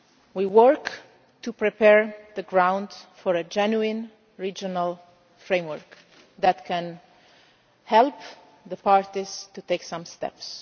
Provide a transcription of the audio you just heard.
League. We are working to prepare the ground for a genuine regional framework that can help the parties to take some